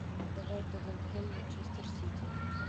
давай тоттенхэм манчестер сити